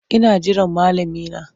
Ina jiran malami na.